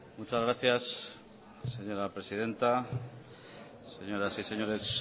muchas gracias señora presidenta señoras y señores